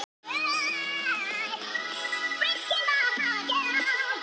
Hún lokaði augunum og stýrði honum inn í sig.